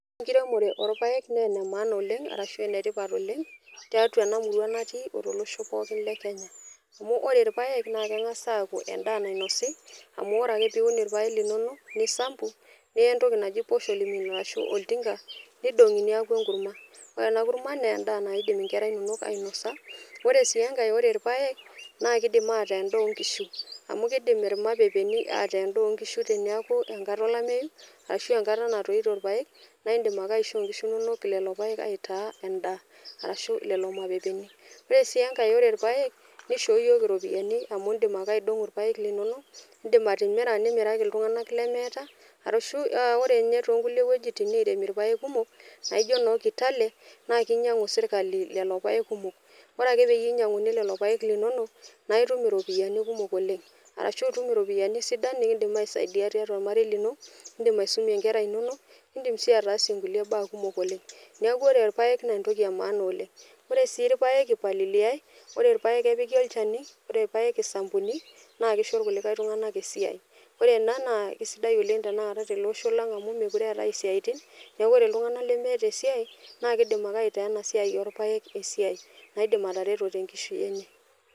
Ore enkiremore oorpaek naa enemaana oleng arashu enetipat oleng tiatua ena murua natii otolosho pookin lekenya . Amu ore irpaek naa kengas aaku endaa nainosi amu ore ake piun irpaek linonok , nisampu, niya entoki naji posho mill ashu oltinka, nidongi niaku enkurma . Ore enakurma naa endaa naidim inkera inonok ainosa , ore si enkae , ore irpaek naa kidim ataa endaa onkishu amu kidim irpapeeni ataa endaa onkishu teneaku enkata olameyu ashu enkata natoito irpaek naa indim ake aishoo inkishu inonok lelo paek aitaa endaa arashu lelo mapepeni. Ore si enkae , ore irpaek nishoo yiok iropiyiani amu indim ake aidongo irpaek linonok , indim atimira , nindim nimiraki iltunganak lemeeta arashu ore ninye toonkulie wuejitin niremi irpaek kumok naijo noo kitale naa kinyiangu sirkali lelo paek kumok . Ore ake peyie inyianguni lelo paek linonok naa itum iropiyiani kumok oleng arashu itum iropiyiani sidan nikindim aisaidia tiatua ormarei lino, indim aisumie nkera inonok , nindim si ataasie nkulie baa kumok oleng . Niaku ore irpaek naa entoki emaana oleng. Ore sii irpaek ipaliliaey , ore ipaek epiki olchani, ore irpaek isampuni naa kisho kulie tunganak esiai . Ore ena naa kisidai oleng tenaata tele osho lang amu mekure eetae isiatin naiku ore iltunganak lemeeta esiai naa kidim ake aitaa ena siai orpaek esiai, naidim atareto tenkishui enye.